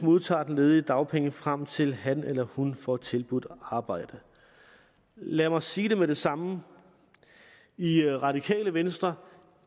modtager den ledige dagpenge frem til han eller hun får tilbudt arbejde lad mig sige det med det samme i radikale venstre